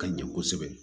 Ka ɲɛ kosɛbɛ